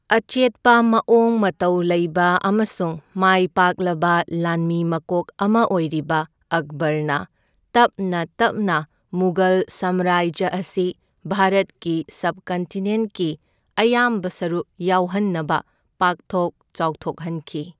ꯑꯆꯦꯠꯄ ꯃꯑꯣꯡ ꯃꯇꯧ ꯂꯩꯕ ꯑꯃꯁꯨꯡ ꯃꯥꯏꯄꯥꯛꯂꯕ ꯂꯥꯟꯃꯤ ꯃꯀꯣꯛ ꯑꯃ ꯑꯣꯏꯔꯤꯕ ꯑꯛꯕꯔꯅ ꯇꯞꯅ ꯇꯞꯅ ꯃꯨꯘꯜ ꯁꯝꯔꯥꯖ꯭ꯌ ꯑꯁꯤ ꯚꯥꯔꯠꯀꯤ ꯁꯕꯀꯟꯇꯤꯅꯦꯟꯠꯀꯤ ꯑꯌꯥꯝꯕ ꯁꯔꯨꯛ ꯌꯥꯎꯍꯟꯅꯕ ꯄꯥꯛꯊꯣꯛ ꯆꯥꯎꯊꯣꯛꯍꯟꯈꯤ꯫